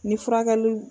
Ni furakɛliw